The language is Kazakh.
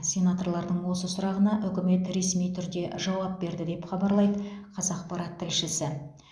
сенаторлардың осы сұрағына үкімет ресми түрде жауап берді деп хабарлайды қазақпарат тілшісі